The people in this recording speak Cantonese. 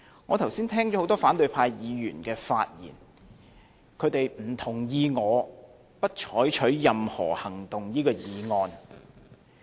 我剛才聽到很多反對派議員的發言，他們不同意我不得就譴責議案採取任何行動的這項議案。